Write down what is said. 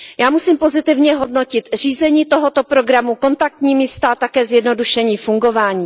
Já musím pozitivně hodnotit řízení tohoto programu, kontaktní místa a také zjednodušení fungování.